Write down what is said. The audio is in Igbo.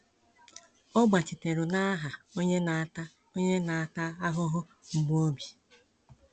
Ọ gbachiteru n'aha onye na ata onye na ata ahụhụ mgbu obi.